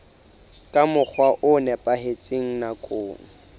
ka mokgwa o nepahetseng nakong